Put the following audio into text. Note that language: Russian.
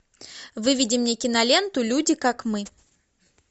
выведи мне киноленту люди как мы